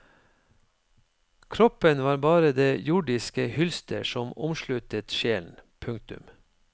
Kroppen var bare det jordiske hylster som omsluttet sjelen. punktum